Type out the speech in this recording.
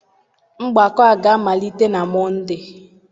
Mgbakọ a ga-amalite na Mọnde.